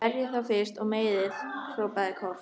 Berjið þá fyrst og meiðið, hrópaði Kort.